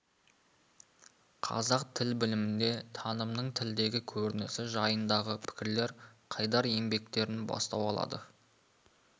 қазақ тіл білімінде танымның тілдегі көрінісі жайындағы пікірлер қайдар еңбектерінен бастау алады